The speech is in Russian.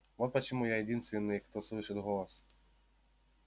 вот почему я единственный кто слышит голос